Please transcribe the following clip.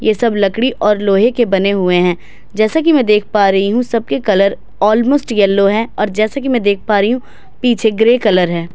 यह सब लकड़ी और लोहे के बने हुए हैं जैसे कि मैं देख पा रही हूं सबके कलर ऑलमोस्ट येलो है जैसे कि मैं देख पा रही हूं पीछे ग्रे कलर है।